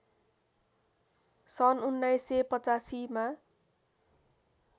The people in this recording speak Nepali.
सन् १९८५ मा